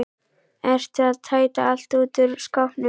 Ertu að tæta allt út úr skápnum?